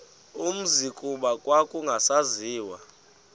umzi kuba kwakungasaziwa